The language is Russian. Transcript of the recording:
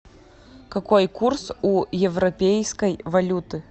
какой курс у европейской валюты